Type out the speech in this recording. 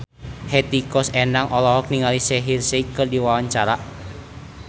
Hetty Koes Endang olohok ningali Shaheer Sheikh keur diwawancara